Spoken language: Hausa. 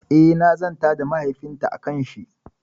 Eh, na zanta da mahaifin ta akan shi